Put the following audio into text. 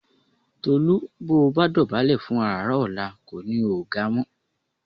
Tolú bó o bá dọ̀bálẹ̀ fún àràrá ọ̀la kò ní o ò ga mọ́